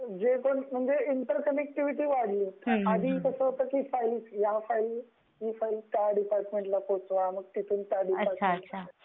हो सगळीकडे. म्हणजे इंटर कनेक्टिविटी वाढली. आधी कस होत ही फाइल त्या डिपार्टमेंटला पोहचवा तिथुन त्या डिपार्टमेंटला पोहचवा